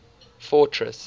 fortress